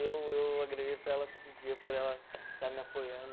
Eu eu agradeço a ela todo dia por ela estar me apoiando.